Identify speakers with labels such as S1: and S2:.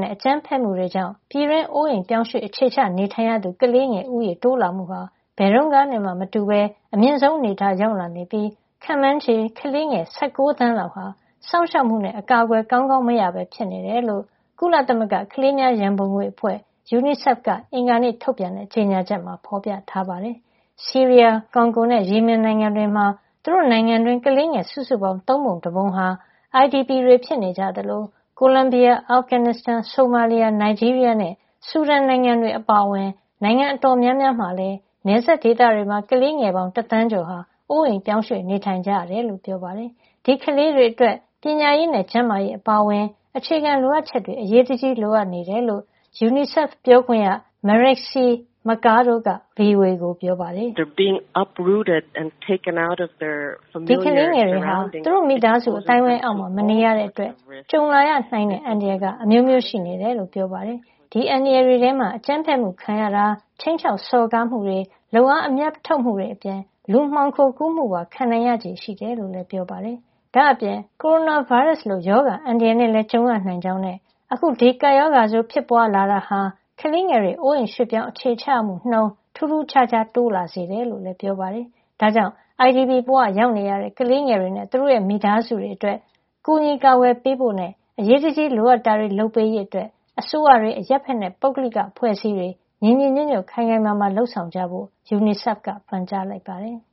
S1: နဲ့ အကြမ်းဖက်မှုတွေကြောင့် ပြည်တွင်း နေရပ်စွန့်ခွာနေထိုင်ရသူ ကလေးငယ် ဦးရေတိုးလာမှုဟာ ဘယ်တုန်းကနဲ့မှ မတူပဲ အမြင့်ဆုံး အနေထားကို ရောက်လာနေ ပြီး ခန့်မှန်းခြေ ကလေးငယ် ၁၉ သန်းလောက်ဟာ စောင့်ရှောက်မှုနဲ့ အကာကွယ် ကောင်းကောင်း မရပဲ ဖြစ်နေတယ်လို့ ကုလသမဂ္ဂ ကလေးများရန်ပုံငွေအဖွဲ့ UNICEF က အင်္ဂါနေ့ ထုတ်ပြန်တဲ့ ကြေညာချက်မှာ ဖေါ်ပြထားပါတယ်။ ဆီးရီးယား၊ ကွန်ဂိုနဲ့ ယီမင်နိုင်ငံတွေမှာ သူတို့ နိုင်ငံတွင်း ကလေးငယ် စုစုပေါင်း သုံးပုံ တပုံဟာ IDP ဖြစ်နေကြသလို ကိုလံဘီယာ၊ အာဖဂန်နစ်စတန်၊ ဆိုမာလီယာ၊ နိုင်ဂျီးရီးယားနဲ့ ဆူဒန်နိုင်ငံတွေ အပါအဝင် နိုင်ငံအတော်များများမှာလည်း နယ်စပ်ဒေသတွေမှာ ကလေးငယ်ပေါင်း တသန်းကျော်ဟာ အိုးအိမ်ရွှေ့ပြောင်းနေထိုင် နေရတယ်လို့လည်းပြောပါတယ်။ ဒီကလေးတွေ အတွက် ပညာရေးနဲ့ ကျန်းမာရေး အပါအဝင် အခြေခံ လိုအပ်ချက်တွေ အရေးတကြီး လိုအပ်နေတယ်လို့ UNICEF ပြောခွင့်ရ Marixie Mercado က VOA ကို ပြောပါတယ
S2: ်။ “ဒီကလေးတွေဟာ သူတ
S1: ို့မိသားစု အသိုင်းဝိုင်း အောက်မှာ မနေရတဲ့ အတွက် ကြုံလာရနိုင်တဲ့ အန္တရာယ် အမျိုးမျိုး ရှိနေတယ်လို့ ပြောသွားတာပါ။ ဒီအန္တရာယ် တွေထဲမှာ အကြမ်းဖက်မှု ခံရတာ၊ ခြိမ်းခြောက်စော်ကား မှုတွေ၊ လုပ်အား အမြတ်ထုတ်မှုတွေ အပြင် လူမှောင်ခိုကူးမှုပါ ခံရနိုင်ခြေရှိတယ်လို့လည်း ပြောပါတယ်။” ဒါ့အပြင် ကိုရိုနာဗိုင်းရပ်စ် လို ရောဂါအန္တရာယ်နဲ့လည်း ကြုံရနိုင်ကြောင်းနဲ့ အခု ဒီကပ်ရောဂါ ဆိုးဖြစ်ပွားလာ တာဟာ ကလေးငယ်တွေ နေရပ်စွန့်ခွာ အခြေချရမှုနှုန်း ထူးထူးခြားခြား တိုးလာစေတယ်လို့လည်းပြောပါတယ်။ ဒါကြောင့် IDP ဘဝရောက်နေရတဲ့ ကလေးငယ်တွေနဲ့သူတို့ရဲ့ မိသားစုတွေ အတွက် ကူညီကာကွယ်ပေးဖို့နဲ့ အရေးတကြီးလိုအပ်တာတွေကို လုပ်ပေးရေး အတွက် အစိုးရတွေ၊ အရပ်ဘက်နဲ့ ပုဂ္ဂလိက အဖွဲ့အစည်းတွေ ညီညီညွတ်ညွတ်နဲ့ ခိုင်ခိုင်မာမာ လုပ်ဆောင်ကြဖို့ UNICEF က ပန်ကြားလိုက်ပါတယ်။